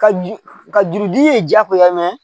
Ka ju ka juru di ye jaagoya